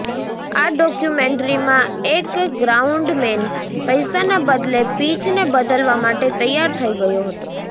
આ ડોક્યુમેન્ટ્રીમાં એક ગ્રાઉન્ડમેન પૈસાના બદલે પિચને બદલવા માટે તૈયાર થઇ ગયો હતો